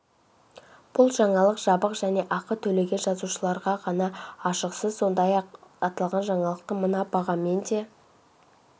бұл жаңалық жабық және ақы төлеген жазылушыларға ғана ашық сіз сондай-ақ аталған жаңалықты мына бағамен де